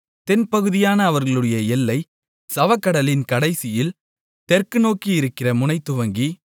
தென்பகுதியான அவர்களுடைய எல்லை சவக்கடலின் கடைசியில் தெற்கு நோக்கி இருக்கிற முனைதுவங்கி